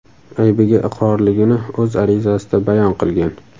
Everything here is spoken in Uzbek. aybiga iqrorligini o‘z arizasida bayon qilgan.